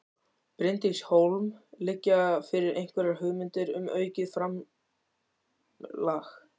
Bryndís Hólm: Liggja fyrir einhverjar hugmyndir um aukið framlag?